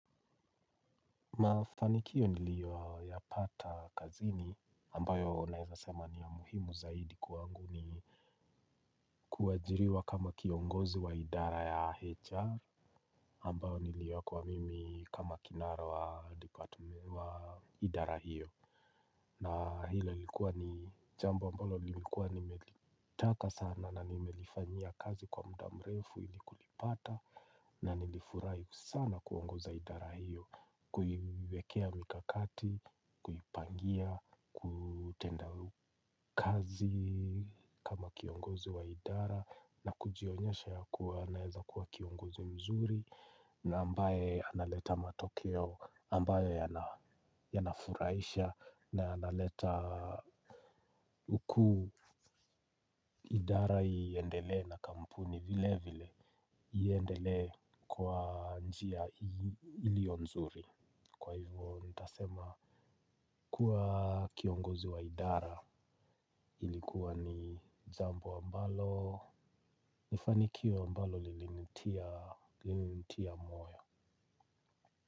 Mafanikio niliyoyapata kazini ambayo naeza sema ni ya muhimu zaidi kwangu ni kuajiriwa kama kiongozi wa idara ya HR ambayo niliekwa mimi kama kinara wa idara hiyo. Na hilo lilikuwa ni jambo ambalo nilikuwa nimelitaka sana na nimelifanyia kazi kwa muda mrefu ili kulipata. Na nilifurahi sana kuongoza idara hiyo. Kuiwekea mikakati, kuipangia, kutenda kazi kama kiongozi wa idara na kujionyesha ya kuwa naeza kuwa kiongozi mzuri na ambaye analeta matokeo ambayo yanafurahisha na yanaleta huku idara iendelee na kampuni vile vile iendelee kwa njia iliyo nzuri. Kwa hivyo nitasema kuwa kiongozi wa idara ilikuwa ni jambo ambalo ni fanikio ambalo lilinitia moyo.